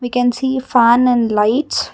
we can see fan and lights.